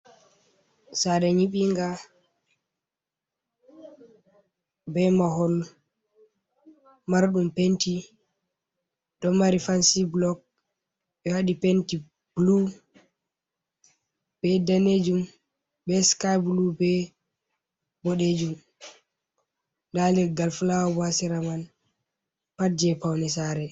Sare nyiɓinga, be mahol, marɗum penti, ɗo mari fansi bulok, ɓe waɗi penti bulu, be danejum, be siky bulu, be boɗejum, nda leggal fulawa bo hasera man pat je paune sare.